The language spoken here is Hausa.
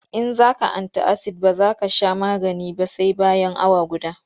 In za ka anti-asid ba za ka sha magani ba sai bayan awa guda.